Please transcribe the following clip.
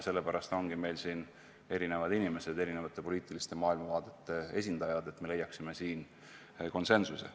Sellepärast ongi meil siin erinevad inimesed, erinevate poliitiliste maailmavaadete esindajad, et leiaksime konsensuse.